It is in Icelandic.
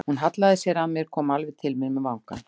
Hún hallaði sér að mér, kom alveg til mín með vangann.